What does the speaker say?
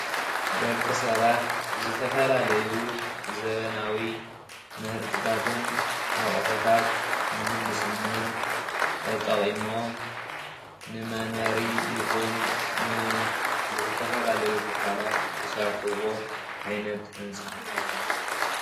ደቂ ሰባት ዝተፈላለዩ ዘበናዊ ምህርትታትን ኣቑሕታት ምህንድስናን ተጠቒሞም ንመንበሪ ይኹን ንዝተፈላለዩ ትካላት ዝሰርሕዎ ዓይነት ህንፃ።